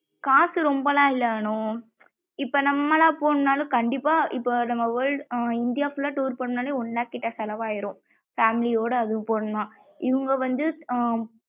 காசு ரொம்பலம் இல்ல அனு இப்போ நம்மலா போனும்ன நாளும் கண்டிப்பா இப்போ நம்ம world இந்தியா full லா tour போனும்னாலே one lakh கிட்ட செலவு ஆகிரும் family யோட அதுவும்